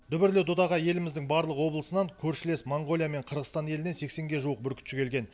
дүбірлі додаға еліміздің барлық облысынан көршілес моңғолия мен қырғызстан елінен сексенге жуық бүркітші келген